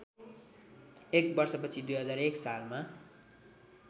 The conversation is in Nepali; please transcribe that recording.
एक वर्षपछि २००१ सालमा